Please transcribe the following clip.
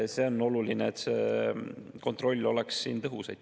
On oluline, et kontroll oleks tõhus.